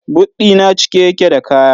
But ɗi na cike yake da kaya.